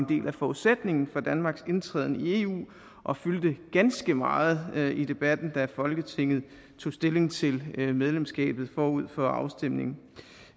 del af forudsætningen for danmarks indtræden i eu og fyldte ganske meget i debatten da folketinget tog stilling til medlemskabet forud for afstemningen